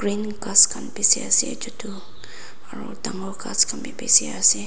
many gas khan b bishi ase chutu aro dangor gas Khan b bishi ase.